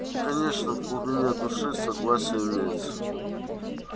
конечно в глубине души согласие имеется